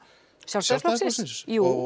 Sjálfstæðisflokksins jú